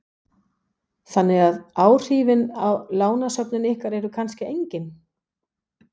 Þorbjörn: Þannig að áhrifin á lánasöfnin ykkar eru kannski engin?